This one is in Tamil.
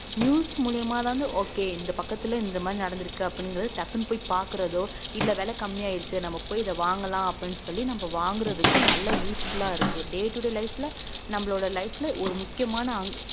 news மூலியமாதான் okay இந்த பக்கத்துல இந்த மாரி நடந்திருக்கு அப்படிங்கிறதை டக்குன்னு போய் பாக்குறதோ இல்ல விலை கம்மியாயிடுச்சு நம்ம போய் இத வாங்கலாம் அப்படின்னு சொல்லி நம்ம வாங்குறதுக்கும் நல்லா useful ஆ இருக்கு day to day life ல நம்மளோட life ல ஒரு முக்கியமான அங்~